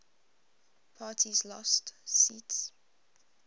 parties lost seats